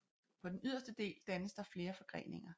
På den yderste del dannes der flere forgreninger